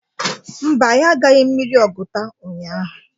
Mba, anyị agaghị mmiri Oguta ụhyaahụ.